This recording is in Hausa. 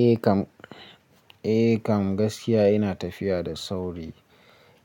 Eh kam, eh kam gaskiya ina tafiya da sauri.